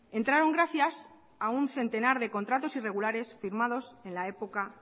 entraron gracias a un centenar de contratos irregulares firmados en la época